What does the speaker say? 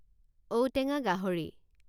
ঔটেঙা গাহৰি